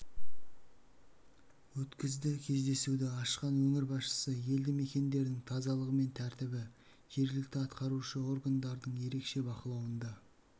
өткізді кездесуді ашқан өңір басшысы елді мекендердің тазалығы мен тәртібі жергілікті атқарушы органдардың ерекше бақылауында